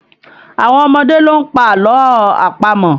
Àwọn ọmọdé ló ń pa àlọ́ àpamọ̀